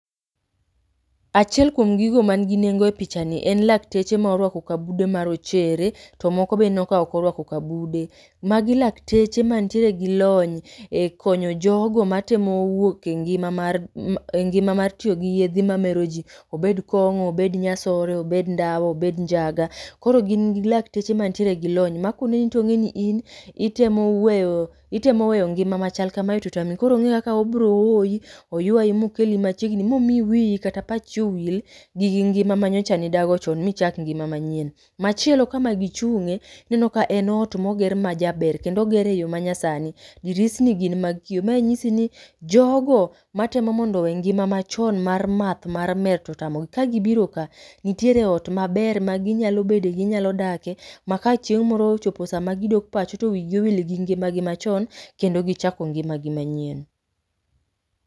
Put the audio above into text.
Achiel kuom gigo man gi nengo e pichani en lakteche ma orwako kabude ma rochere, to moko be ineno ka ok orwako kabude. Magi lateche mantiere gi lony, e konyo jogo matemo wuok e ngima mar e ngima mar tiyo gi yedhi mamero jii. Obed kong'o, obed nyasore, obed ndawa, obed njaga. Koro gin gi lakteche mantiere gi lony ma koneno tong'eni in, itemo weyo, itemo weyo ngima machal kamae totami. Koro ong'e kaka obro hoyi, oywayi mokeli machiegni momiyi wiyi kata pachi owil gigi ngima ma nyocha nidago chon michak ngima manyien. Machielo kama gichung'e, ineno ka en ot moger majaber kendo ogere eyo ma nyasani. Dirisni gin mag kio, mae nyisi ni jogo, matemo mondo owe ngima machon mar math mar mer totamogi ka gibiro ka, nitiere ot maber maginyalo bede, ginyalo dake, ma kachieng' moro ochopo sama gidok pacho to wigi owil gi ngimagi machon, kendo gichako ngimagi manyien